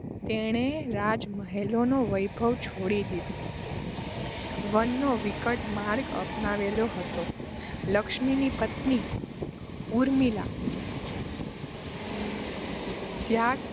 તેણે રાજમહેલનો વૈભવ છોડી દીધો વનનો વિકટ માર્ગ અપનાવેલો હતો. લક્ષ્મણની પત્ની ઊર્મિલા ત્યાગ